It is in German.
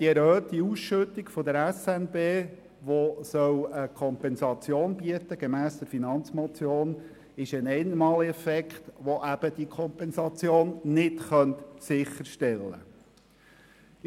Die erhöhte Ausschüttung der Schweizerischen Nationalbank (SNB), die gemäss Finanzmotion der Kompensation dienen soll, ist ein Einmaleffekt, der diese Kompensation eben nicht sicherstellen kann.